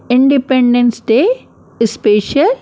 independence day special --